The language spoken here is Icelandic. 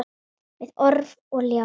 Með orf og ljá.